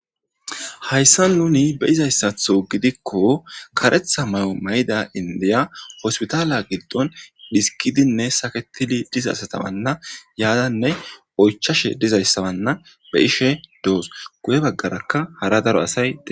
hayssa nuni be izayssatho gidikko karetha may7o may7ida indiya hospitaala giddon dhiskidinne saketili dizasatabanna yaadanne oychashe dizayssabanna be ishe doos guye baggarakka hara daro asay e